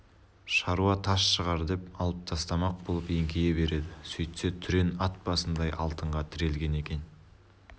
шаруа тас шығар деп алып тастамақ болып еңкейе береді сөйтсе түрен ат басындай алтынға тірелген екен